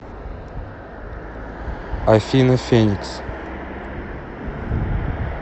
афина феникс